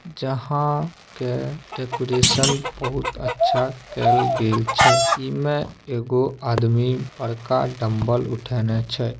जहां के डेकोरेशन बहुत अच्छा कायल गेल छै। ई मे एगो आदमी बड़का डम्बल उठाने छै।